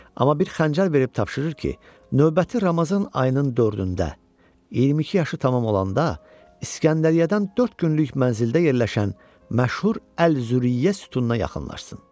Amma bir xəncər verib tapşırır ki, növbəti Ramazan ayının dördündə 22 yaşı tamam olanda İsgəndəriyyədən dörd günlük mənzildə yerləşən məşhur Əl-Züriyə sütununa yaxınlaşsın.